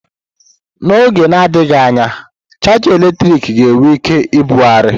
N'oge na-adịghị anya, chaja eletrik ga-enwe ike ibugharị.